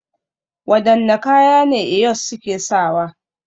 Wadanne kaya ne Eyos suke sawa?